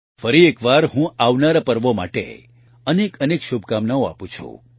ફરી એકવાર હું આવનારા પર્વો માટે અનેકઅનેક શુભકામનાઓ આપું છું